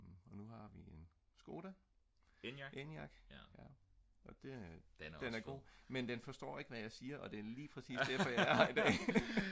nu har vi en skoda eniac og den er god men den forstår ikke hvad jeg siger og det er lige præcis derfor jeg er her i dag